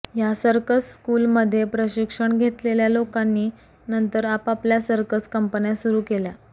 ह्या circus school मध्ये प्रशिक्षण घेतलेल्या लोकांनी नंतर आपापल्या सर्कस कंपन्या सुरु केल्या